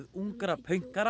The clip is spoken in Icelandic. ungra